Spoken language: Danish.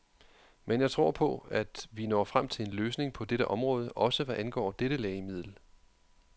Men jeg tror på, at vi når frem til en løsning på dette område, også hvad angår dette lægemiddel.